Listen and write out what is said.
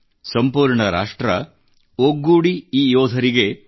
ಸಂಪೂರ್ಣ ರಾಷ್ಟ್ರ ಒಗ್ಗೂಡಿ ಈ ಯೋಧರಿಗೆ